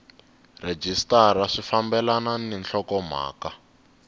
rhejisitara swi fambelani ni nhlokomhaka